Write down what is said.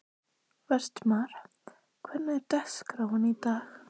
Vestmar, hvernig er dagskráin í dag?